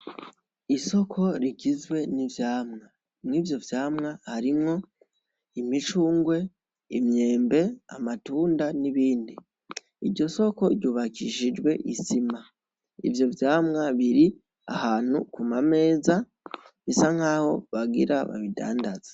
Isoko rigizwe n'ivyamwa. Mw'ivyo vyamwa harimwo imicungwe, imyembe, amatunda n'ibindi. Iryo soko ryubakishijwe isima. Ivyo vyamwa biri ahantu ku mameza, bisa nkaho bagira babidandaze.